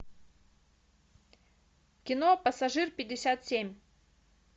кино пассажир пятьдесят семь